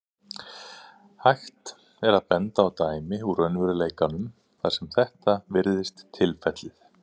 Hægt er að benda á dæmi úr raunveruleikanum þar sem þetta virðist tilfellið.